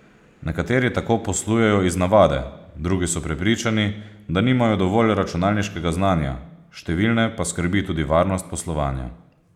Nekateri tako poslujejo iz navade, drugi so prepričani, da nimajo dovolj računalniškega znanja, številne pa skrbi tudi varnost poslovanja.